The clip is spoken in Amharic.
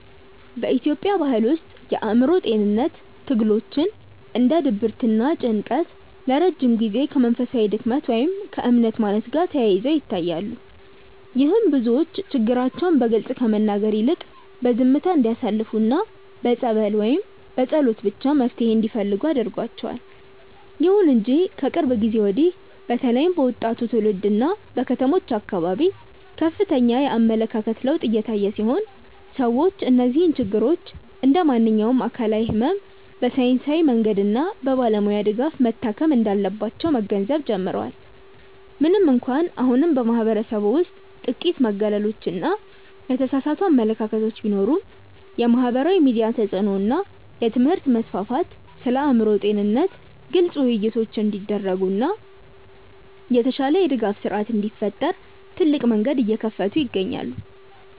በኢትዮጵያ ባሕል ውስጥ የአእምሮ ጤንነት ትግሎች እንደ ድብርትና ጭንቀት ለረጅም ጊዜ ከመንፈሳዊ ድክመት ወይም ከእምነት ማነስ ጋር ተያይዘው ይታያሉ። ይህም ብዙዎች ችግራቸውን በግልጽ ከመናገር ይልቅ በዝምታ እንዲያሳልፉና በጸበል ወይም በጸሎት ብቻ መፍትሔ እንዲፈልጉ አድርጓቸዋል። ይሁን እንጂ ከቅርብ ጊዜ ወዲህ በተለይም በወጣቱ ትውልድና በከተሞች አካባቢ ከፍተኛ የአመለካከት ለውጥ እየታየ ሲሆን፣ ሰዎች እነዚህን ችግሮች እንደ ማንኛውም አካላዊ ሕመም በሳይንሳዊ መንገድና በባለሙያ ድጋፍ መታከም እንዳለባቸው መገንዘብ ጀምረዋል። ምንም እንኳን አሁንም በማኅበረሰቡ ውስጥ ጥቂት መገለሎችና የተሳሳቱ አመለካከቶች ቢኖሩም፣ የማኅበራዊ ሚዲያ ተጽዕኖ እና የትምህርት መስፋፋት ስለ አእምሮ ጤንነት ግልጽ ውይይቶች እንዲደረጉና የተሻለ የድጋፍ ሥርዓት እንዲፈጠር ትልቅ መንገድ እየከፈቱ ይገኛሉ።